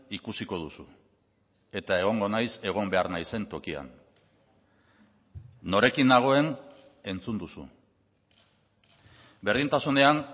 ikusiko duzu eta egongo naiz egon behar naizen tokian norekin nagoen entzun duzu berdintasunean